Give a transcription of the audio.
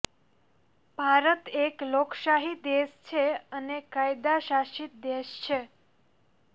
ભારત એક લોકશાહી દેશ છે અને કાયદા શાસિત દેશ છે